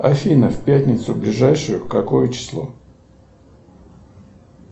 афина в пятницу ближайшую какое число